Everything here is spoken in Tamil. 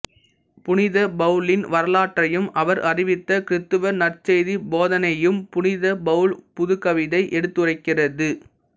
புனித பவுலின் வரலாற்றையும் அவர் அறிவித்த கிறித்தவ நற்செய்திப் போதனையையும் புனித பவுல் புதுக்கவிதை எடுத்துரைக்கிறது